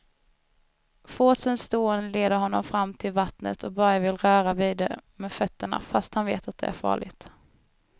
Forsens dån leder honom fram till vattnet och Börje vill röra vid det med fötterna, fast han vet att det är farligt.